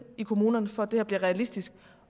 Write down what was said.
i kommunerne for at det her bliver realistisk